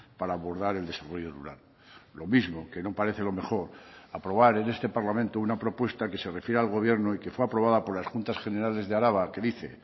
para abordar el desarrollo rural lo mismo que no parece lo mejor aprobar en este parlamento una propuesta que se refiere al gobierno y que fue aprobada por las juntas generales de araba que dice